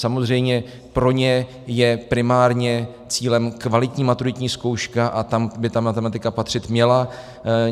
Samozřejmě, pro ně je primárně cílem kvalitní maturitní zkouška a tam by ta matematika patřit měla.